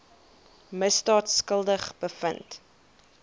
misdaad skuldig bevind